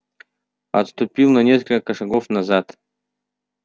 отступил на несколько шагов назад